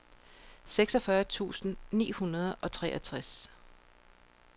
seksogfyrre tusind ni hundrede og treogtres